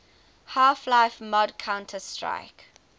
half life mod counter strike